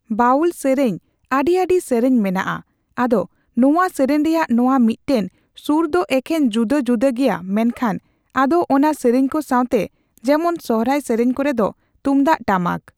ᱵᱟᱣᱩᱞ ᱥᱤᱨᱤᱧ ᱟᱹᱰᱤ ᱟᱹᱰᱤ ᱥᱤᱨᱤᱧ ᱢᱮᱱᱟᱜᱼᱟ ᱟᱫᱚ ᱱᱚᱣᱟ ᱥᱤᱨᱤᱧ ᱨᱮᱭᱟᱜ ᱱᱚᱣᱟ ᱢᱤᱫᱴᱟᱝ ᱥᱩᱨ ᱫᱚ ᱮᱠᱮᱱ ᱡᱩᱫᱟᱹ ᱡᱩᱫᱟᱹ ᱜᱮᱭᱟ ᱢᱮᱱᱠᱷᱟᱱ ᱟᱫᱚ ᱚᱱᱟ ᱥᱤᱨᱤᱧᱠᱩ ᱥᱟᱣᱛᱮ ᱡᱮᱢᱚᱱ ᱥᱚᱦᱚᱨᱟᱭ ᱥᱮᱨᱮᱧ ᱠᱚᱨᱮᱫᱚ ᱛᱩᱢᱫᱟᱜᱽᱽ ᱴᱟᱢᱟᱠ